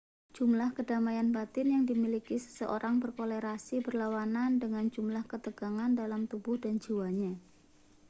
jumlah kedamaian batin yang dimiliki seseorang berkorelasi berlawanan dengan jumlah ketegangan dalam tubuh dan jiwanya